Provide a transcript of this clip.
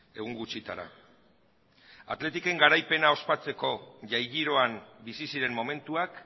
egun gutxitara athleticen garaipena ospatzeko jai giroan bizi ziren momentuak